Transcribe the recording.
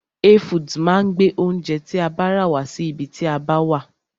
Hey foods máa gbé oúnjẹ tí a bá rà wá sí ibi tí a bá wà.